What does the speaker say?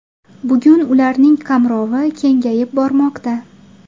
Bugun ularning qamrovi kengayib bormoqda.